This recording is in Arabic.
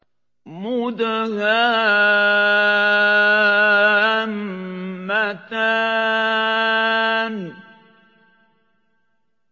مُدْهَامَّتَانِ